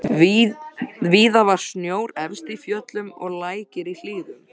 Víða var snjór efst í fjöllum og lækir í hlíðum.